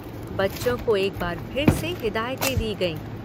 बच्चों को एक बार फिर से हिदायतें दी गयीं।